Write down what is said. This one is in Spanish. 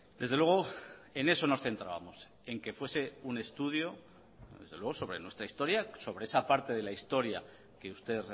desde luego en eso nos centrábamos en que fuese un estudio desde luego sobre nuestra historia sobre esa parte de la historia que usted